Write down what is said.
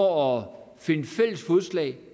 og finde fælles fodslag